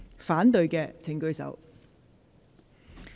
反對的請舉手。